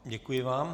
Děkuji vám.